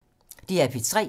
DR P3